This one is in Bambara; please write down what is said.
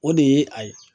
O de ye a ye